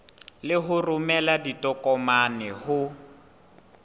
le ho romela ditokomane ho